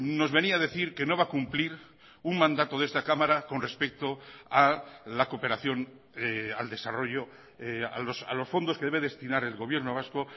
nos venía a decir que no va a cumplir un mandato de esta cámara con respecto a la cooperación al desarrollo a los fondos que debe destinar el gobierno vasco